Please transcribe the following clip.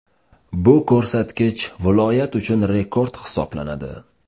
Bu ko‘rsatkich viloyat uchun rekord hisoblanadi.